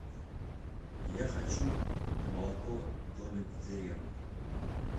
я хочу молоко домик в деревне